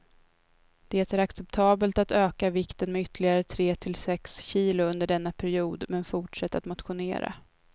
Det är acceptabelt att öka vikten med ytterligare tre till sex kilo under denna period, men fortsätt att motionera.